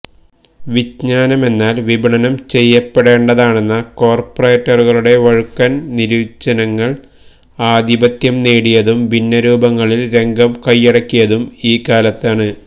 വിജ്ഞാനമെന്നാല് വിപണനം ചെയ്യപ്പെടേണ്ടതാണെന്ന കോര്പ്പറേറ്റുകളുടെ വഴുക്കന് നിര്വചനങ്ങള് ആധിപത്യം നേടിയതും ഭിന്ന രൂപങ്ങളില് രംഗം കൈയടക്കിയതും ഈ കാലത്താണ്